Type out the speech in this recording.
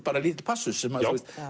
bara lítill passus